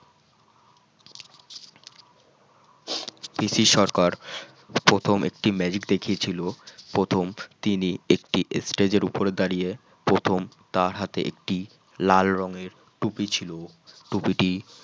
পিসি সরকার প্রথম একটি magic দেখিয়েছিল প্রথম তিনি একটি stage এর উপর দাঁড়িয়ে প্রথম তার হাতে একটি লাল রঙের টুপি ছিল টুপিটি